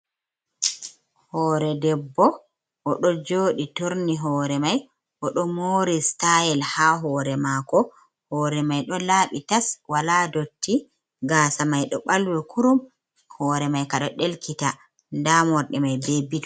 Hoore debbo, o ɗo jooɗi turni hoore may.O ɗo moori sitayel ,haa hoore maako. Hoore may ɗo laaɓi tas ,walaa ndotti. Gaasa may ɗo ɓalwi kurum, hoore may ka ɗo ɗelkita, ndaa morɗi may be bit.